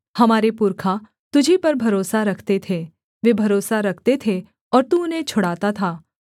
हमारे पुरखा तुझी पर भरोसा रखते थे वे भरोसा रखते थे और तू उन्हें छुड़ाता था